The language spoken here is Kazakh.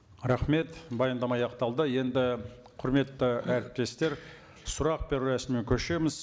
рахмет баяндама аяқталды енді құрметті әріптестер сұрақ беру рәсіміне көшеміз